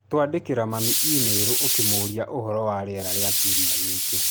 Twandĩkĩra mami e-mail ũkĩmũũria ũhoro wa rĩera rĩa kiumia gĩkĩ